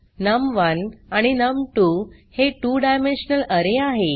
नम1 आणि नम2 हे 2 डायमेन्शनल अरे आहे